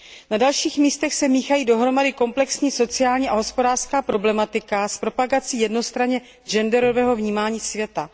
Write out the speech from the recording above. Na dalších místech se míchají dohromady komplexní sociální a hospodářská problematika s propagací jednostranně genderového vnímání světa.